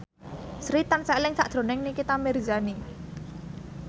Sri tansah eling sakjroning Nikita Mirzani